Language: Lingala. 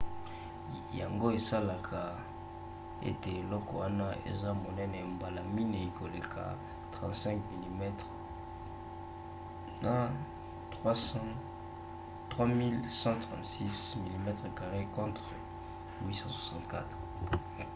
yango esalaka ete eloko wana eza monene mbala minei koleka 35 mm 3136 mm2 contre 864